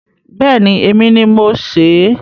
Bẹẹni. Èmi ni mo sè é.